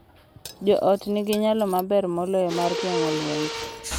Jo ot nigi nyalo maber moloyo mar geng’o lwenje